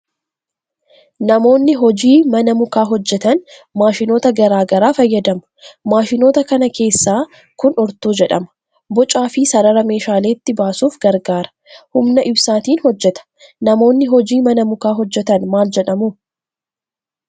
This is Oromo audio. Namoonni hojii mana mukaa hojjetan maashinoota garaa garaa fayyadamu. Maashinoota kana keessaa kun urtuu jedhama. Bocaa fi sarara meeshaaleetti baasuuf gargaara. Humna ibsaatiin hojjeta. Namoonni hojii mana mukaa hojjetan maal jedhamu?